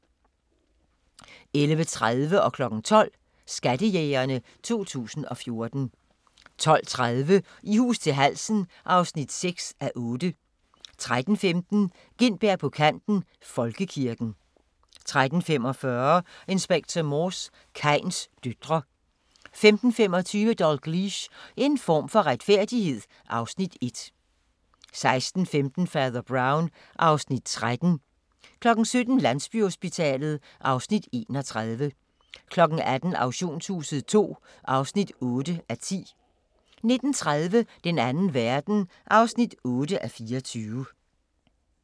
11:30: Skattejægerne 2014 12:00: Skattejægerne 2014 12:30: I hus til halsen (6:8) 13:15: Gintberg på kanten - Folkekirken 13:45: Inspector Morse: Kains døtre 15:25: Dalgliesh: En form for retfærdighed (Afs. 1) 16:15: Fader Brown (Afs. 13) 17:00: Landsbyhospitalet (Afs. 31) 18:00: Auktionshuset II (8:10) 19:30: Den Anden Verden (8:24)